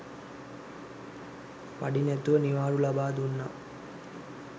පඩි නැතිව නිවාඩු ලබා දුන්නා.